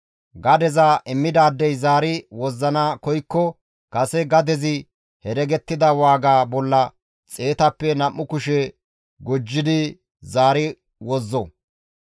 Gadeza immidaadey zaari wozzana koykko kase gadezi heregettida waaga bolla xeetappe nam7u kushe gujjidi zaari wozzo.